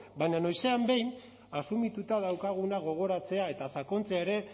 baina noizean behin asumituta daukaguna gogoratzea eta sakontzea ere